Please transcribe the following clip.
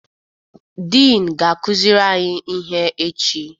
Dịn ga-akụziri anyị ihe echi.